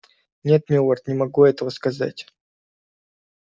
нет милорд не могу этого сказать